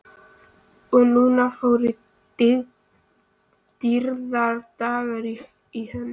Og nú fóru dýrðardagar í hönd.